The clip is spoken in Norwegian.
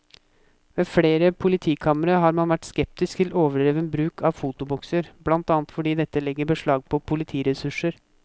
Ved flere politikamre har man vært skeptisk til overdreven bruk av fotobokser, blant annet fordi dette legger beslag på politiressurser.